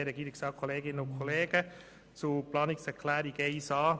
Wir unterstützen die Planungserklärung 1a.